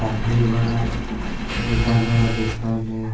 काफी बड़ा दुकान है और डिस्काउंट है।